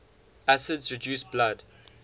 acids reduce blood